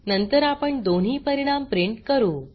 नंतर आपण दोन्ही परिणाम प्रिंट करू